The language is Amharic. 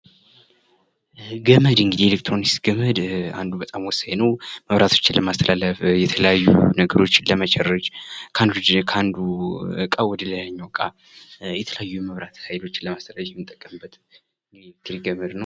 ይህ ገመድ እንግዲህ የኤሌክትሮኒክስ ገመድ ወሳኝ ነው ።መብራቶችን ለማስተላለፍ አልያዩ ነገሮችን ለመቸረጅ ከአንዱ ዕቃ ወደ ሌላኛው ዕቃ የተለያዩ የመብራት ኃይሎችን ለማስተላለፍ የምንጠቀምበት የኤሌክትሪክ ገመድ ነው።